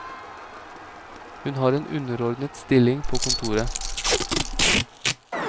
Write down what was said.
Hun har en underordnet stilling på kontoret.